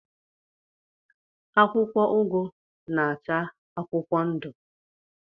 Akwụkwọ ugu na-acha akwụkwọ ndụ.